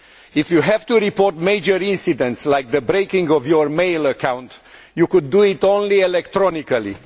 If you have to report major incidents, such as the breaking of your mail account, you can do it only electronically.